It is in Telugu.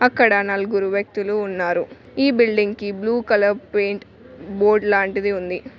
అక్కడ నలుగురు వ్యక్తులు ఉన్నారు ఈ బిల్డింగ్ కి బ్లూ కలర్ పెయింట్ బోర్డ్ లాంటిది ఉంది.